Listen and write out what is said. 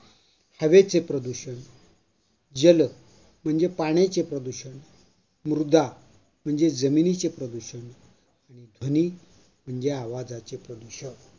हवेचे प्रदूषण जल म्हणजे पाण्याचे प्रदूषण, मृदा म्हणजे जमिनीचे प्रदूषण, ध्वनी म्हणजे आवाजाच्या प्रदूषण.